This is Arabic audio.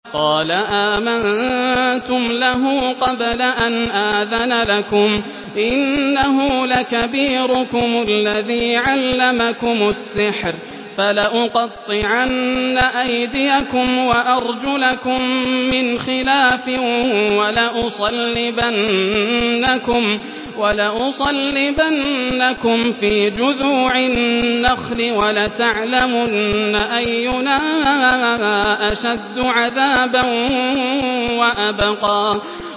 قَالَ آمَنتُمْ لَهُ قَبْلَ أَنْ آذَنَ لَكُمْ ۖ إِنَّهُ لَكَبِيرُكُمُ الَّذِي عَلَّمَكُمُ السِّحْرَ ۖ فَلَأُقَطِّعَنَّ أَيْدِيَكُمْ وَأَرْجُلَكُم مِّنْ خِلَافٍ وَلَأُصَلِّبَنَّكُمْ فِي جُذُوعِ النَّخْلِ وَلَتَعْلَمُنَّ أَيُّنَا أَشَدُّ عَذَابًا وَأَبْقَىٰ